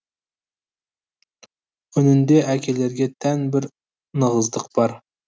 үнінде әкелерге тән бір нығыздық бар